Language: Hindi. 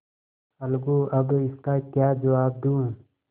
अलगूअब इसका क्या जवाब दूँ